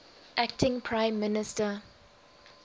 acting prime minister